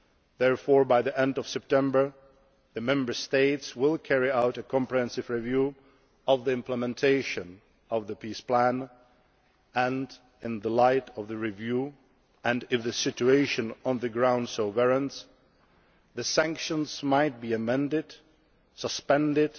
therefore, by the end of September, the Member States will carry out a comprehensive review of the implementation of the peace plan and, in the light of the review, and if the situation on the ground so warrants, the sanctions may be amended, suspended